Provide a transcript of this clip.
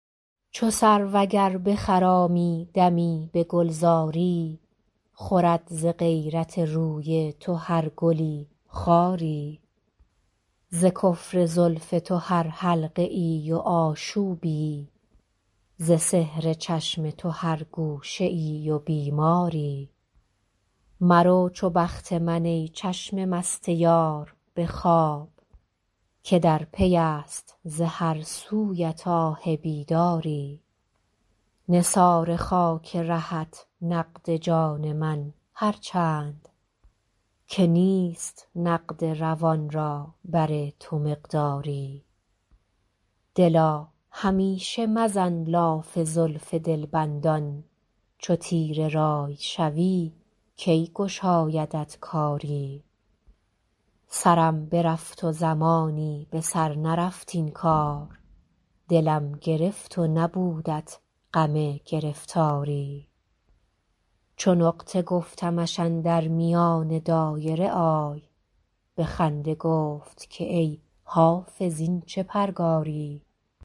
چو سرو اگر بخرامی دمی به گلزاری خورد ز غیرت روی تو هر گلی خاری ز کفر زلف تو هر حلقه ای و آشوبی ز سحر چشم تو هر گوشه ای و بیماری مرو چو بخت من ای چشم مست یار به خواب که در پی است ز هر سویت آه بیداری نثار خاک رهت نقد جان من هر چند که نیست نقد روان را بر تو مقداری دلا همیشه مزن لاف زلف دلبندان چو تیره رأی شوی کی گشایدت کاری سرم برفت و زمانی به سر نرفت این کار دلم گرفت و نبودت غم گرفتاری چو نقطه گفتمش اندر میان دایره آی به خنده گفت که ای حافظ این چه پرگاری